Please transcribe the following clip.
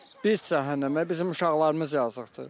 Bir cəhənnəmə, bizim uşaqlarımız yazıqdır.